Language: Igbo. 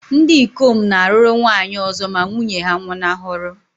Ndị ikom na-alụrụ nwaanyị ọzọ ma nwunye ha nwụnahụrụ.